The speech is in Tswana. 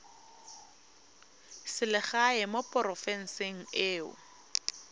selegae mo porofenseng e o